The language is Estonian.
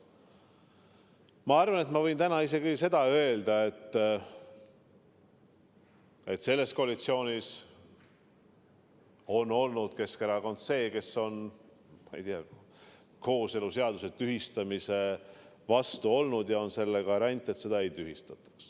Ma arvan, et ma võin täna isegi seda öelda, et selles koalitsioonis on Keskerakond olnud see, kes on kooseluseaduse tühistamise vastu ja on selle garant, et seda ei tühistataks.